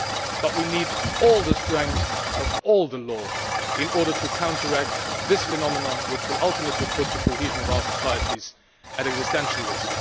But we need the full strength of all the laws in order to counteract this phenomenon which will ultimately put the cohesion of our societies at existential risk.